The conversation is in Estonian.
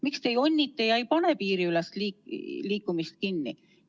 Miks te jonnite ja ei pane piiriülest liikumist kinni?